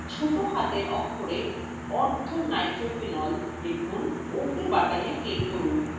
ছোট হাতের অক্ষরে orthonitrophenol লিখুন এবং ওকে button click করুন